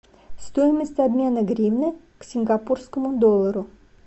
стоимость обмена гривны к сингапурскому доллару